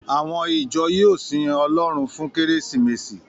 Àwọn ìjọ yóò sin Ọlọ́run fún Kérésìmesì